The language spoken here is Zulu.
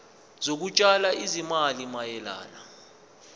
zokutshala izimali mayelana